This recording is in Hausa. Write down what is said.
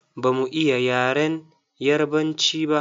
Ba mu iya yaren Yarabanci ba.